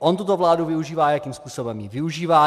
On tuto vládu využívá, jakým způsobem ji využívá.